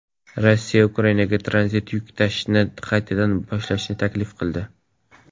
Rossiya Ukrainaga tranzit yuk tashishni qaytadan boshlashni taklif qildi.